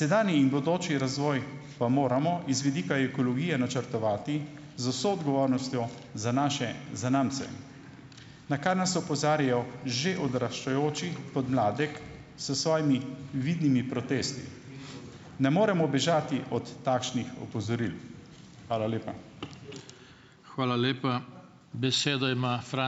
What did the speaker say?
Sedanji in bodoči razvoj pa moramo iz vidika ekologije načrtovati z vso odgovornostjo za naše zanamce. Na kar nas opozarjajo že odraščajoči podmladek s svojimi vidnimi protesti. Ne moremo bežati od takšnih opozoril. Hvala lepa.